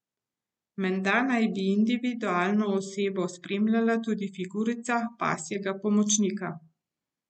Menda naj bi invalidno osebo spremljala tudi figurica pasjega pomočnika.